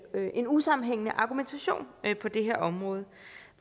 er en usammenhængende argumentation på det her område